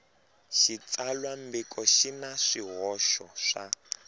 xitsalwambiko xi na swihoxo swa